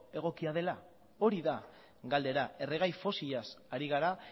egokia dela hori da galdera erregai fosilaz ari gara